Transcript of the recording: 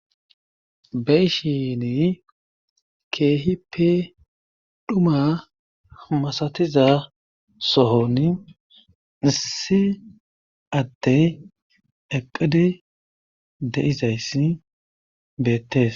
beyshini keehippe dhuma masatiza sohon issi adey eqqidi de'izayssi beettees.